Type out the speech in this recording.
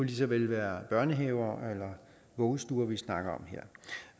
lige så vel være børnehaver eller vuggestuer vi snakker om her